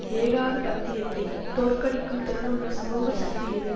ஏகாதிபத்தியத்தைத் தோற்கடிக்கும் திறனுள்ள சமூக சக்தி எது